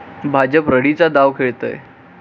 भाजप रडीचा डाव खेळतय.